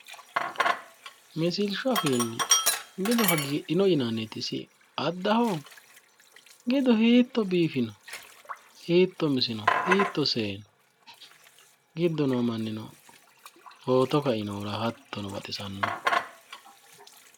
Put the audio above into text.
Misilshshu afiinni gidu hagiidhino yinanniti isi addaho? gidu hiitto biifino? hiitto misino? hiitto seeyino? giddo noo mannino footo kainohura hattono baxissanno.